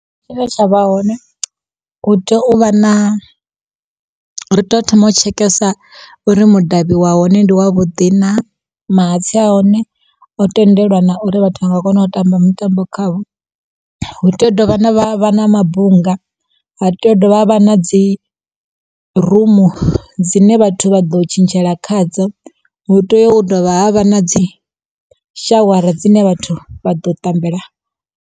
Tshine tshavha hone hu tea u vha na, hu to thoma u tshekesa uri mudavhi wa hone ndi wa vhuḓi na, mahatsi hone o tendelwa na uri vhathu vha nga kona u tamba mutambo khawo. Hu tea u dovha ha vha na mabunga, ha tea u dovha havha na dzi rumu dzine vhathu vha ḓo tshintshela khadzo, hu tea u dovha havha na dzi shawara dzine vhathu vha ḓo tambela.